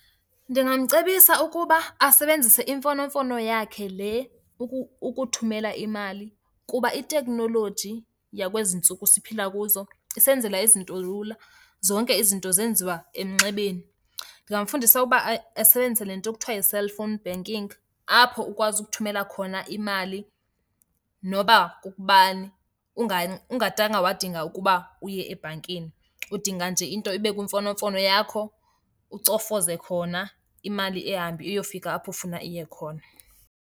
Ndingamcebisa ukuba asebenzise imfonomfono yakhe le ukuthumela imali kuba iteknoloji yakwezi ntsuku siphila kuzo isenzela izinto lula, zonke izinto zenziwa emnxebeni. Ndingamfundisa ukuba asebenzise le nto kuthiwa yi-cellphone banking, apho ukwazi ukuthumela khona imali noba kukubani ungadanga wadinga ukuba uye ebhankini. Udinga nje into ibe kwimfonomfono yakho ucofoze khona, imali ihambe iyofika apho ufuna iye khona.